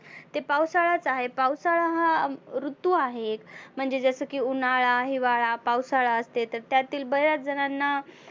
ते पावसाळाच आहे. पावसाळा हा ऋतू आहे. म्हणजे जसं की उन्हाळा, हिवाळा, पावसाळा असते तर त्यातील बऱ्याच जणांना